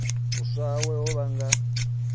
u tswa hawe ho vhanga